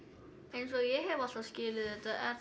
eins og ég hef alltaf skilið þetta